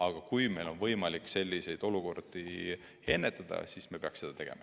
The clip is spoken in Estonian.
Aga kui meil on võimalik selliseid olukordi ennetada, siis me peaksime seda tegema.